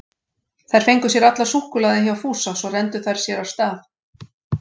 Þær fengu sér allar súkkulaði hjá Fúsa, svo renndu þær sér af stað.